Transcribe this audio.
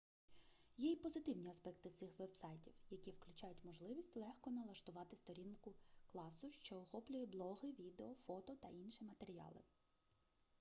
є й позитивні аспекти цих вебсайтів які включають можливість легко налаштувати сторінку класу що охоплює блоги відео фото та інші матеріали